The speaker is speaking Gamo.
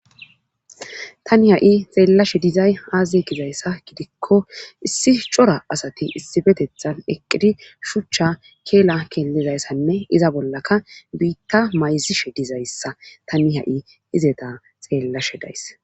Tani ha7i xeellashe dizay aaze gizayssa gidikko issi cora asati issifetethan eqqidi shuchcha keela keellidayssanne iza bollaka biitta mayzishe dizayssa tani ha7i izeta xeellashe days.